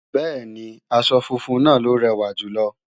Bẹ́ẹ̀ni, aṣọ funfun náà ló rẹ̀wà jùlọ